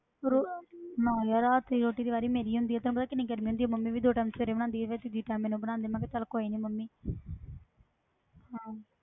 ਰੋ~ ਨਾ ਯਾਰ ਰਾਤ ਦੀ ਰੋਟੀ ਦੀ ਵਾਰੀ ਮੇਰੀ ਹੁੰਦੀ ਆ ਤੈਨੂੰ ਪਤਾ ਕਿੰਨੀ ਗਰਮੀ ਹੁੰਦੀ ਆ, ਮੰਮੀ ਵੀ ਦੋ time ਸਵੇਰੇ ਬਣਾਉਂਦੀ ਆ, ਫਿਰ ਤੀਜੀ time ਮੈਨੂੰ ਬਣਾਉਂਦੀ ਹੈ, ਮੈਂ ਕਿਹਾ ਚੱਲ ਕੋਈ ਨੀ ਮੰਮੀ ਹਾਂ